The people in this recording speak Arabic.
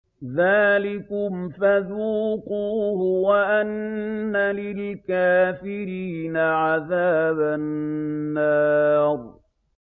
ذَٰلِكُمْ فَذُوقُوهُ وَأَنَّ لِلْكَافِرِينَ عَذَابَ النَّارِ